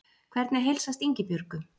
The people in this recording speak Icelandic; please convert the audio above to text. Hvernig heilsast Ingibjörgu?